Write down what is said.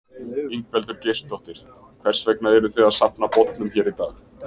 Ingveldur Geirsdóttir: Hvers vegna eruð þið að safna bollum hér í dag?